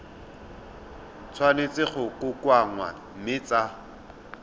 tshwanetse go kokoanngwa mme tsa